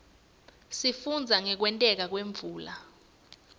sifundza ngekwenteka kwemvula